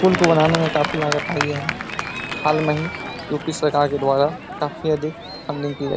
पुल को बनाने में काफी लागत आई है। हाल में ही यू.पी. सरकार के द्वारा काफी अधिक फंडिंग की गई।